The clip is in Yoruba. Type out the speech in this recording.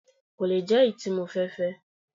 Kò le jẹ́ èyí tí mo fẹ́ fẹ́